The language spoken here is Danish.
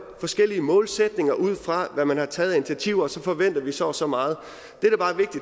forskellige målsætninger ud fra hvad man har taget af initiativer og så forventer vi så og så meget